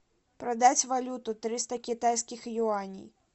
продать валюту триста китайских юаней